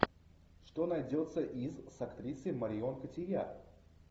что найдется из с актрисой марион котийяр